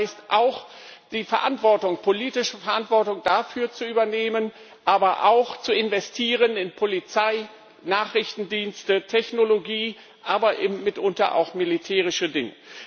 Das heißt auch, die politische Verantwortung dafür zu übernehmen, aber auch zu investieren in Polizei, Nachrichtendienste, Technologie, aber eben mitunter auch militärische Dinge.